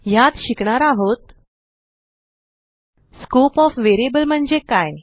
ह्यात शिकणार आहोत स्कोप ओएफ व्हेरिएबल म्हणजे काय